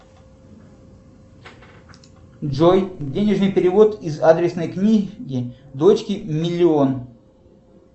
джой денежный перевод из адресной книги дочке миллион